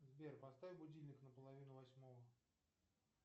сбер поставь будильник на половину восьмого